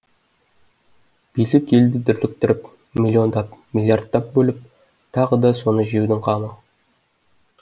билік елді дүрліктіріп миллиондап миллиардтап бөліп тағы да соны жеудің қамы